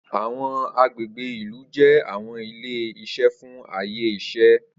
Awọn agbegbe ilu jẹ awọn ile-iṣẹ fun aye iṣẹ.